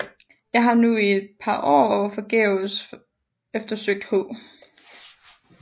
Jeg har nu i et Par Aar forgæves eftersøgt H